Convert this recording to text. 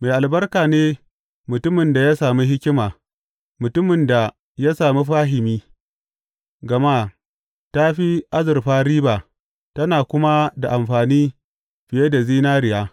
Mai albarka ne mutumin da ya sami hikima, mutumin da ya sami fahimi, gama ta fi azurfa riba tana kuma da amfani fiye da zinariya.